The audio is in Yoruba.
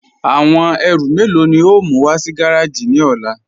Awọn èrú mélo ni o mú wà sí gàràjì ni ọ̀là?